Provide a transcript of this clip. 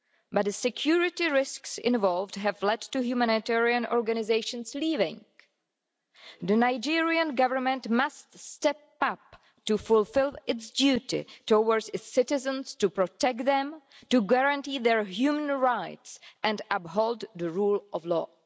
As the security risks involved have led to humanitarian organisations leaving, the Nigerian Government must step up to fulfil its duty towards its citizens to protect them, to guarantee their human rights and uphold the rule of law.